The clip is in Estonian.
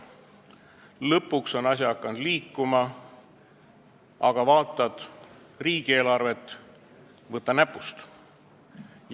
Lõpuks on asi hakanud liikuma, aga vaatad riigieelarvet – võta näpust!